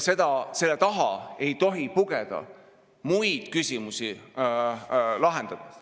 Ja selle taha ei tohi pugeda muid küsimusi lahendades.